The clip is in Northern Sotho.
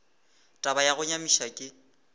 taba ya go nyamiša ke